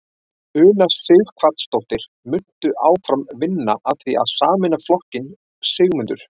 Una Sighvatsdóttir: Muntu áfram vinna að því að sameina flokkinn Sigmundur?